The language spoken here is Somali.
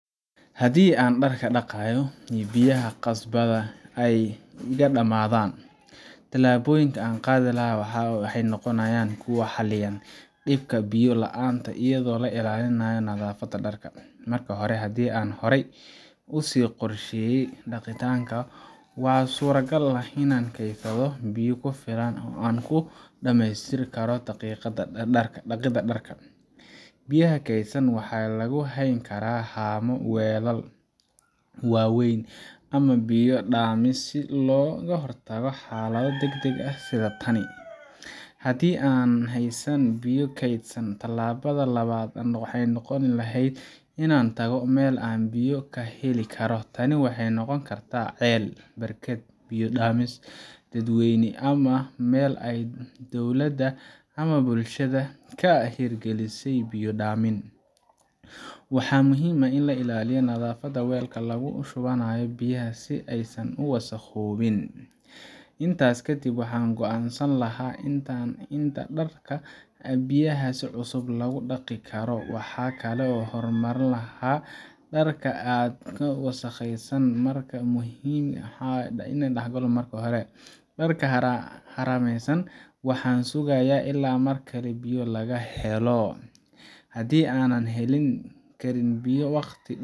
Haddii aan dharka dhaqayo oo biyaha qasabadda ay iga dhammaadaan, tallaabooyinka aan qaadi lahaa waxay noqonayaan kuwo xallinaya dhibka biyo la’aanta iyadoo la ilaalinayo nadaafadda dharka. Marka hore, haddii aan horey u sii qorsheeyay dhaqitaanka, waxaa suuragal ah inaan keydsaday biyo ku filan oo aan ku dhammeystiri karo dhaqidda dharka. Biyaha keydsan waxaa lagu hayn karaa haamo, weelal waaweyn ama biyo-dhaamis, si looga hortago xaalado degdeg ah sida tan. Haddii aanan haysan biyo keydsan, tallaabada labaad waxay noqon lahayd inaan tago meel aan biyo ka heli karo. Tani waxay noqon kartaa ceel, barkad, biya-dhaamis dadweyne ama meel ay dowladda ama bulshada ka hirgelisay biyo-dhaamin. Waxaa muhiim ah in la ilaaliyo nadaafadda weelka lagu shubanayo biyaha si aysan u wasakhoobin. Intaas kadib, waxaan go’aansan lahaa inta dhar ah ee biyahaas cusub lagu dhaqi karo, waxaana kala hormarin lahaa dharka aadka u wasakhaysan ama muhiimka ah in la dhaxlayo marka hore. Dharka harayna waxaan sugayaa ilaa markale biyo laga helo. Haddii aanan heli karin biyo waqti